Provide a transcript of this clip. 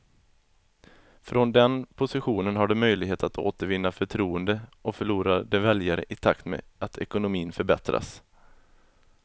Från den positionen har de möjligheter att återvinna förtroende och förlorade väljare i takt med att ekonomin förbättras.